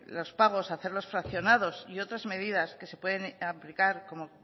los pagos hacerlos fraccionados y otras medidas que se pueden aplicar como